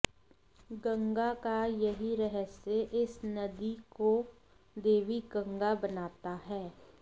गंगा का यही रहस्य इस नदी को देवी गंगा बनाता है